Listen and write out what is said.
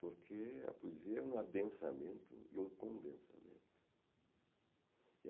porque a poesia é um adensamento e um condensamento.